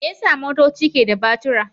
Me yasa motoci ke da batura?